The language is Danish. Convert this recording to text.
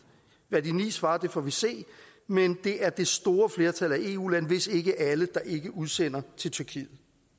hvad de ni lande svarer får vi se men det er det store flertal af eu lande hvis ikke alle der ikke udsender til tyrkiet